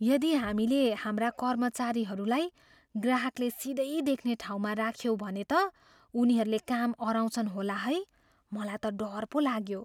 यदि हामीले हाम्रा कर्मचारीहरूलाई ग्राहकले सिधै देख्ने ठाउँमा राख्यौँ भने त उनीहरूले काम अह्राउँछन् होला है। मलाई त डर पो लाग्यो।